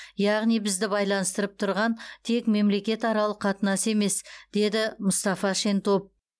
яғни бізді байланыстырып тұрған тек мемлекетаралық қатынас емес деді мұстафа шентоп